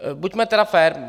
Buďme tedy fér.